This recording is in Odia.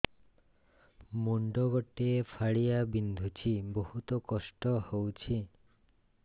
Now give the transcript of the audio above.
ମୁଣ୍ଡ ଗୋଟେ ଫାଳିଆ ବିନ୍ଧୁଚି ବହୁତ କଷ୍ଟ ହଉଚି